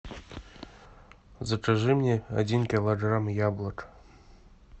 закажи мне один килограмм яблок